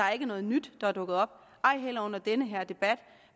er noget nyt der er dukket op ej heller under den her debat